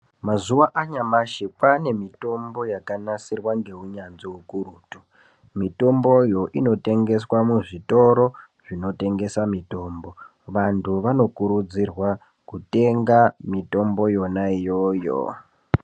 Mazuwa anyamashi kwaane mitombo yakanisirwa ngeunyanzvi ukurutu , mitomboyo inotengeswa muzvitoro zvinotengesa mitombo , vantu vanokurudzirwa kutenga mitombo yona iyoyo